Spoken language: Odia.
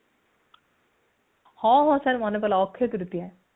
ହଁ ହଁ ମୋର ମନେ ପଡିଲା ଅକ୍ଷିତୃତୀୟା